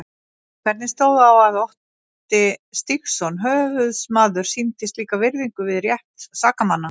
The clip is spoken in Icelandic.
Hvernig stóð á að Otti Stígsson höfuðsmaður sýndi slíka virðingu við rétt sakamanna?